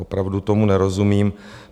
Opravdu tomu nerozumím.